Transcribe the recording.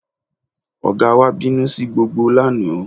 Ọ̀gá wa bínú sí gbogbo lánàá